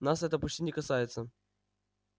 нас это почти не касается